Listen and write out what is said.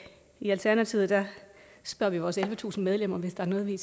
i alternativet spørger vi vores ellevetusind medlemmer hvis der er noget vi